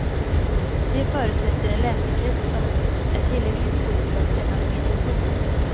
Det förutsätter en läsekrets som är tillräckligt stor för att kännas meningsfull.